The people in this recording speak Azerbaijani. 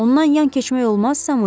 Ondan yan keçmək olmaz, Samuel?